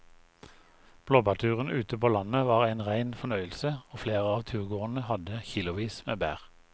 Blåbærturen ute på landet var en rein fornøyelse og flere av turgåerene hadde kilosvis med bær.